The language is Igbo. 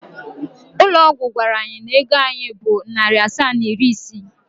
Ụlọ ọgwụ gwara anyị na ego anyị bụ narị asaa na iri isii.